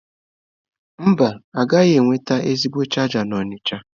Mba, ịgaghị enweta ezigbo chaja n'Onitsha.